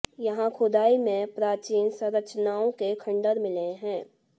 यहां खुदाई में प्राचीन संरचनाओं के खंडहर मिले हैं